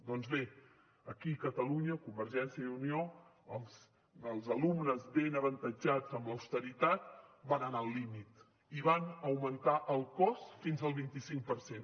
doncs bé aquí a catalunya convergència i unió els alumnes ben avantatjats amb l’austeritat van anar al límit i van augmentar el cost fins al vint cinc per cent